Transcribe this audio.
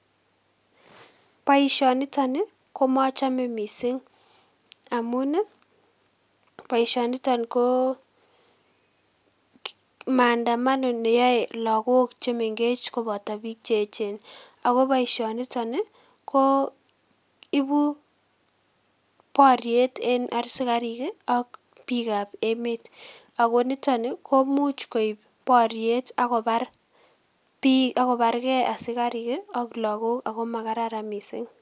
Boisioniton ii ko mochome mising amun ii, boisioniton ko maandamano ne yoe lagok che mengech koboto piik che echen. Ako boisioniton ii, ko ibu boriet en asikarik ii ak piikab emet, ako nitoni komuch koib boriet ako barkee asikarik ii ak lagok ako makararan mising.